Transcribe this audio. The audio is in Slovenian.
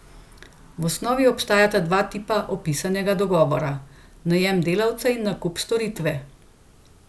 V osnovi obstajata dva tipa opisanega dogovora, najem delavca in nakup storitve.